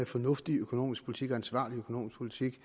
fornuftig økonomisk politik og ansvarlig økonomisk politik